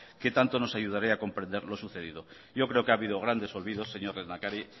que tanto nos ayudará a comprender lo sucedido yo creo que ha habido grandes olvidos señor lehendakari